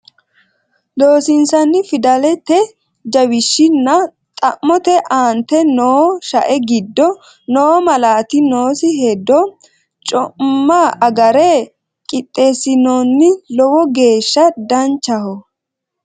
Loossinanni Fidalete jawishshi nna xa mote aante noo shae giddo noo malaati noosi hedo co imma agarre qixxeessinoonni Lowo geeshsha danchaho.